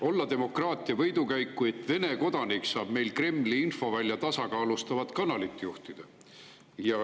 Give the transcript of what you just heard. Olla demokraatia võidukäik, et Vene kodanik saab meil Kremli infovälja tasakaalustavat kanalit juhtida?